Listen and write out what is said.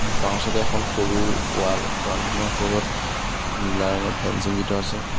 বাওঁচাইডে এখন সৰু ৱাল ৱালখনৰ ওপৰত নীলা ৰঙৰ ফেঞ্চিং দি থোৱা আছে।